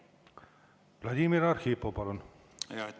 Vladimir Arhipov, palun!